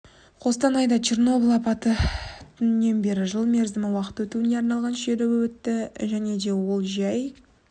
қостанайда черноболь апат күнінен бері жыл мерзім уақыт өтуіне арналған шеруі өтті және де ол жай